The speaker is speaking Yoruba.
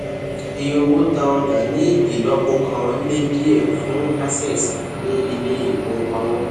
ìye owó ta ọjà ní ìlọpo kan le díẹ fún cs] access ní ilé ìfowópamọ